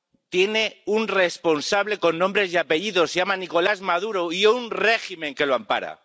Tiene un responsable con nombres y apellidos se llama Nicolás Maduro y un régimen que lo ampara.